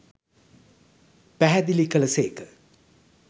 පැහැදළි කළ සේක.